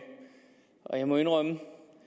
jeg må indrømme